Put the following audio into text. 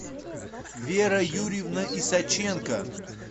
вера юрьевна исаченко